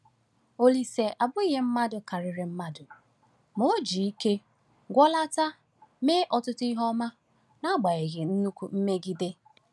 Olise abụghị mmadụ karịrị mmadụ, ma o ji ike gụọlata mee ọtụtụ ihe ọma n’agbanyeghị nnukwu mmegide.